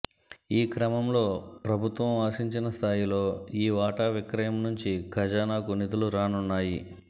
ఈ క్రమంలో ప్రభుత్వం ఆశించిన స్థాయిలో ఈ వాటా విక్రయం నుంచి ఖజానాకు నిధులు రానున్నాయి